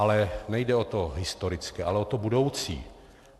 Ale nejde o to historické, ale o to budoucí.